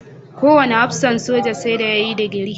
Kowane hafsan soja sai da ya yi digiri.